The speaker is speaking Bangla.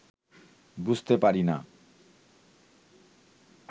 বুঝতে পারি না